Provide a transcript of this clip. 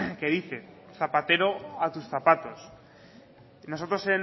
que dice zapatero a tus zapatos y nosotros